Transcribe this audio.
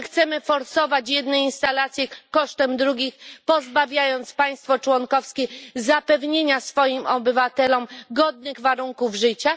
Czy chcemy forsować jedne instalacje kosztem drugich, pozbawiając państwo członkowskie zapewnienia swoim obywatelom godnych warunków życia?